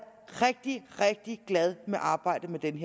rigtig rigtig glad for arbejdet med dette